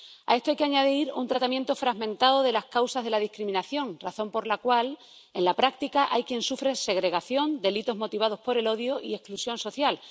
A esto hay que añadir un tratamiento fragmentado de las causas de la discriminación, razón por la cual en la práctica hay quien sufre segregación, delitos motivados por el odio y exclusión social.